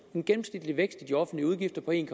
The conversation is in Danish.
en gennemsnitlig vækst i de offentlige udgifter på en